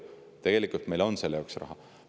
Tegelikult meil selle jaoks raha on.